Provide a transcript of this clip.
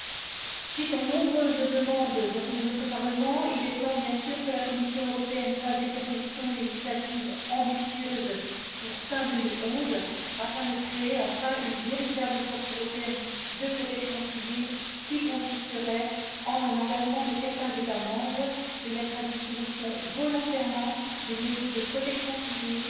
À la suite des nombreuses demandes de notre Parlement, il est temps, bien sûr, que la Commission européenne fasse des propositions législatives ambitieuses d'ici fin 2011 pour la création, enfin, d'une véritable force européenne de protection civile, qui consisterait en un engagement de certains États membres à mettre volontairement à disposition des modules de protection civile